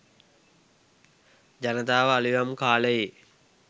ජනතාව අලුයම් කාලයේ